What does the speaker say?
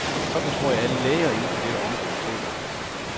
Sådan tror jeg alle læger inden for dette område føler det.